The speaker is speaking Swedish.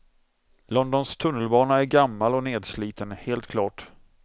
Londons tunnelbana är gammal och nedsliten, helt klart.